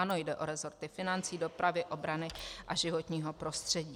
Jde o resorty financí, dopravy, obrany a životního prostředí.